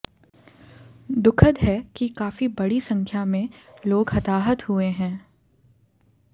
दुखद है कि काफी बड़ी संख्या में लोग हताहत हुए हैं